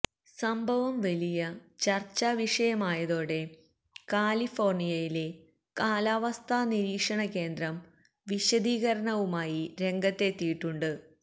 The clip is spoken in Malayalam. സംഭവം വലിയ ചർച്ചാവിഷയമായതോടെ കാലിഫോർണിയയിലെ കാലാവസ്ഥാ നിരീക്ഷണ കേന്ദ്രം വിശദീകരണവുമായി രംഗത്തെത്തിയിട്ടുണ്ട്